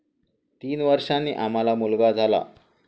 तीन वर्षांनी आम्हाला मुलगा झाला.